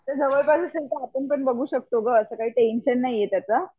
आता जवळ पास असेल तर आपण बघू शकतो ग असा काही टेन्शन नाही आहे त्याच